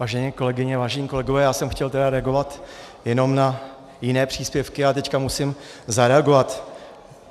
Vážené kolegyně, vážení kolegové, já jsem chtěl tedy reagovat jenom na jiné příspěvky, ale teď musím zareagovat.